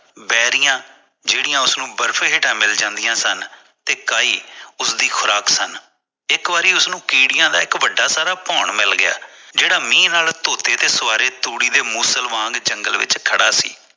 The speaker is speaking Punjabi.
ਬੇਰੀਆਂ ਜਿਹੜੀ ਉਸਨੂੰ ਬਰਫ਼ ਹੇਠਾਂ ਮਿਲ ਜਾਂਦੀ ਸਨ ਤੇ ਕਈ ਉਸਦੀ ਖੁਰਾਕ ਸਨ ਇਕ ਵਾਰ ਉਸਨੂੰ ਕੀੜਿਆਂ ਦਾ ਵੱਡਾ ਸਾਰਾ ਭੋਣ ਮਿਲ ਗਿਆ ਜਿਹੜਾ ਮੀਂਹ ਨਾਲ ਧੋਤੇ ਤੇ ਸਵਾਰੇ ਧੂੜੀ ਦੇ ਮੁਸਲ ਵਾਂਗ ਜੰਗਲੇ ਤੇ ਖੜਾ ਸੀ